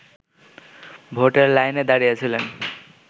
ভোটের লাইনে দাঁড়িয়েছিলেন